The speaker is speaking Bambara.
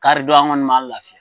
Kari don, an kɔni m'an lafiya.